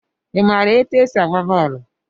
I maara etu e si agba bọọlụ?